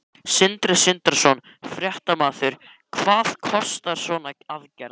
Sindri Sindrason, fréttamaður: Hvað kostar svona aðgerð?